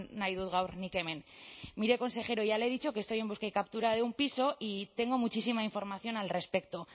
nahi dut gaur nik hemen mire consejero ya le he dicho que estoy en busca y captura de un piso y tengo muchísima información al respecto